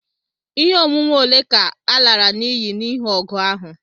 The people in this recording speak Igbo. Ihe onwunwe ole ka e lara n'iyi n'ihi ọgụ ahụ?